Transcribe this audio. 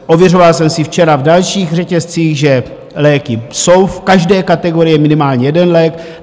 Ověřoval jsem si včera v dalších řetězcích, že léky jsou v každé kategorii, minimálně jeden lék.